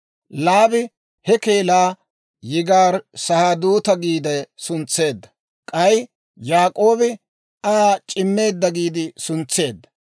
Laabi he keelaa, Yigaari-Sahaaduta giide suntseedda; k'ay Yaak'oobi Aa C'imeedda giide suntseedda.